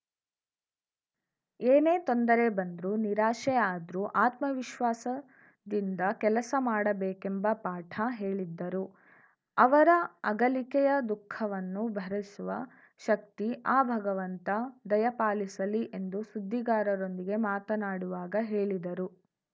ಏನೇ ತೊಂದರೆ ಬಂದ್ರು ನಿರಾಶೆ ಆದ್ರು ಆತ್ಮವಿಶ್ವಾಸದಿಂದ ಕೆಲಸ ಮಾಡಬೇಕೆಂಬ ಪಾಠ ಹೇಳಿದ್ದರು ಅವರ ಅಗಲಿಕೆಯ ದುಃಖವನ್ನು ಭರಿಸುವ ಶಕ್ತಿ ಆ ಭಗವಂತ ದಯಾಪಾಲಿಸಲಿ ಎಂದು ಸುದ್ದಿಗಾರರೊಂದಿಗೆ ಮಾತನಾಡುವಾಗ ಹೇಳಿದರು